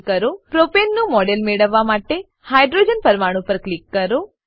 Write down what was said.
પ્રોપને propane નું model મેળવવા માટે હાઇડ્રોજન પરમાણુ પર ક્લિક કરો